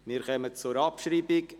Wir kommen zur Abschreibung.